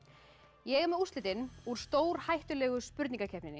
ég er með úrslitin úr stór hættulegu spurningakeppninni